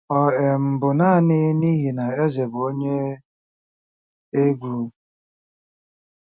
Ọ um bụ naanị n'ihi na eze bụ onye egwu?